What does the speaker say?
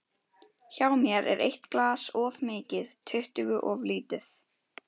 Hjá mér er eitt glas of mikið, tuttugu of lítið.